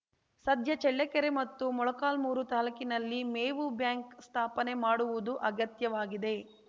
ಸದ್ಯ ಚಳ್ಳಕೆರೆ ಮತ್ತು ಮೊಳಕಾಲ್ಮೂರು ತಾಲೂಕಿನಲ್ಲಿ ಮೇವು ಬ್ಯಾಂಕ್‌ ಸ್ಥಾಪನೆ ಮಾಡುವುದು ಅಗತ್ಯವಾಗಿದೆ